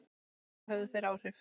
Helga: Höfðu þeir áhrif?